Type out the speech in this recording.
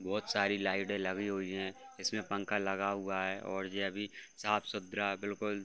बहुत सारी लाइटे लगी हुई है। इसमे पंखा लगा हुआ है और ये अभी साफ-सुथरा बिल्कुल --